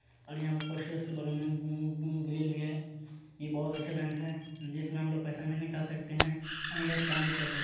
और यहाँ पे पोस्टर्स के बगल में उ उ ग्रिल भी है ये बहुत अच्छा बैंक है जिसमें हम लोग पैसा भी निकाल सकते हैं अन या त काम भी कर सक--